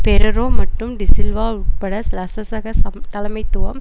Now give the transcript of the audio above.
பெரேரோ மற்றும் டி சில்வா உட்பட்ட சலசசக தலைமைத்துவம்